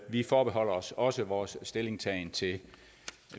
vi forbeholder os også vores stillingtagen indtil